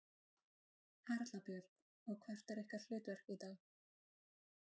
Erla Björg: Og hvert er ykkar hlutverk í dag?